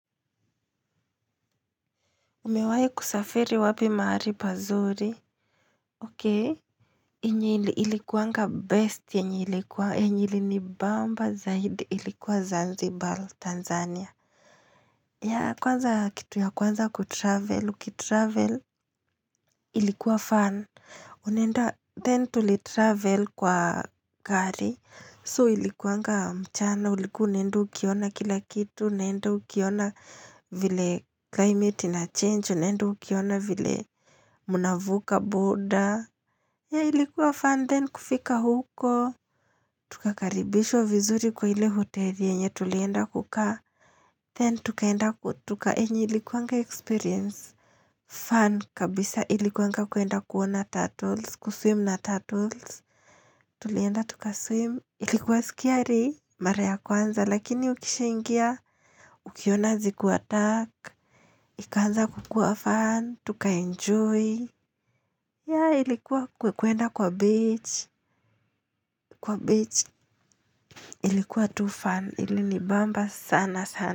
Umewahi kusafiri wapi mahali pazuri, okay. Yenye ilikuanga best yenye ilikuwa, yenye ilinibamba, zaidi, ilikuwa Zanzibar, Tanzania. Ya kwanza kitu ya kwanza kutravel, ukitravel, ilikuwa fun. Unaenda, then tulitravel kwa gari. So ilikuanga mchana, ulikuwa unaenda ukiona kila kitu, unaenda ukiona vile climate inachange, unaenda ukiona vile mnavuka boda. Yah, ilikuwa fun then kufika huko. Tukakaribishwa vizuri kwa ile hoteli yenye tulienda kukaa. Then tukaenda yenye ilikuwanga experience. Fun kabisa ilikuwanga kuenda kuona turtles. Kuswim na turtles. Tulienda tukaswim. Ilikuwa scary. Mara ya kwanza. Lakini ukishaingia. Ukiona zikiwa dark. Ikaanza kukuwa fun. Tukaenjoy. Yah, ilikuwa kuenda kwa beach Kwa beach Ilikuwa too fun Ilinibamba sana sana.